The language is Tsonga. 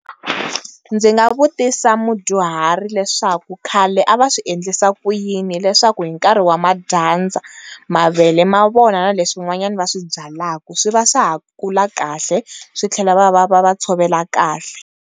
Ndzi nga vutisa mudyuhari leswaku khale a va swi endlisa ku yini leswaku hi nkarhi wa ma dyandza mavele ma vona na leswin'wanyana va swi byalaka swi va swa ha kula kahle swi tlhela va va va va tshovela kahle.